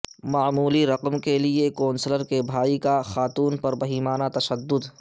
معمولی رقم کے لیے کونسلر کے بھائی کا خاتون پر بہیمانہ تشدد